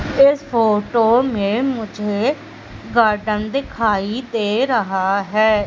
इस फोटो में मुझे गार्डन दिखाई दे रहा है।